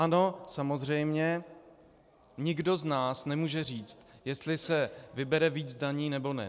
Ano, samozřejmě, nikdo z nás nemůže říct, jestli se vybere víc daní, nebo ne.